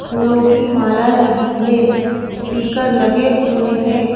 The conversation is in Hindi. फूलों की माला लगी है स्पीकर लगे हुए हैं।